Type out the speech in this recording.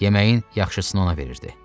Yeməyin yaxşısını ona verirdi.